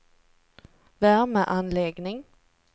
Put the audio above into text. värmeanläggning